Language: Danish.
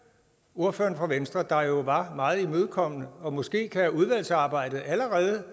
ordføreren fra venstre der jo var meget imødekommende og måske kan udvalgsarbejdet allerede